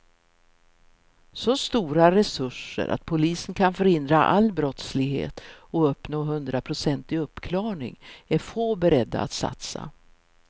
Så stora resurser att polisen kan förhindra all brottslighet och uppnå hundraprocentig uppklarning är få beredda att satsa.